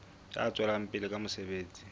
ya tswelang pele ka mosebetsi